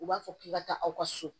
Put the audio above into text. U b'a fɔ k'i ka taa aw ka so